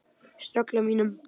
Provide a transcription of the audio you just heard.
Ströggl á mínum?